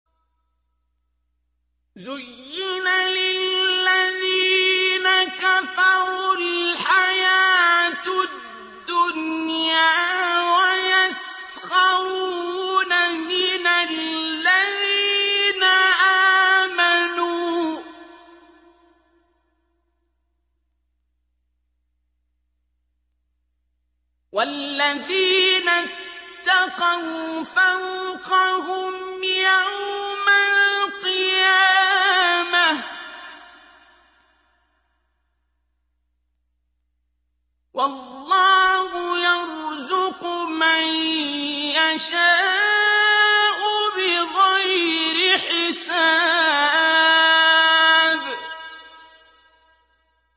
زُيِّنَ لِلَّذِينَ كَفَرُوا الْحَيَاةُ الدُّنْيَا وَيَسْخَرُونَ مِنَ الَّذِينَ آمَنُوا ۘ وَالَّذِينَ اتَّقَوْا فَوْقَهُمْ يَوْمَ الْقِيَامَةِ ۗ وَاللَّهُ يَرْزُقُ مَن يَشَاءُ بِغَيْرِ حِسَابٍ